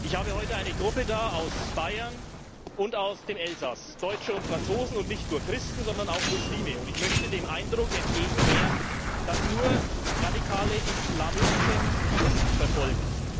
Ich habe heute eine Gruppe zu Gast aus Bayern und aus dem Elsass, Deutsche und Franzosen, und nicht nur Christen, sondern auch Muslime, und ich möchte dem Eindruck entgegen wirken, dass nur radikale Islamisten Christen verfolgen.